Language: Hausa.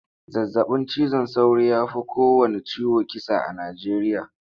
Zazabin cizon sauro ya fi kowanne ciwo kisa a Nijeriya.